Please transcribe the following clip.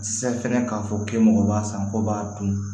Se fɛngɛ k'a fɔ k'e mɔgɔ b'a san k'o b'a dun